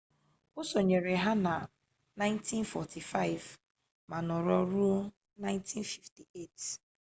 o sonyere ha na 1945 ma nọrọ ruo 1958